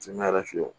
Ne yɛrɛ fɛ yen